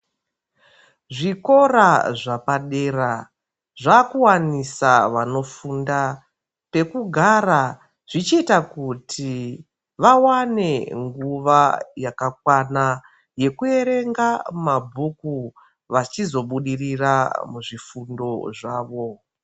Zvikora zvepadera zvakuwanisa vanofunda pekugara zvichiita kuti vawane nguwa yakakwana yekuerenga mabhuku vachizobudirira muzvifundo zvawo.